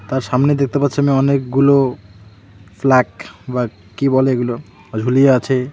তার সামনে দেখতে পাচ্ছি আমি অনেকগুলো ফ্ল্যাক বা কি বলে এগুলো ঝুলিয়ে আছে।